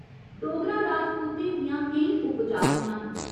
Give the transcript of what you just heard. डोगरा राजपूतें दियां केईं उपजातियां न।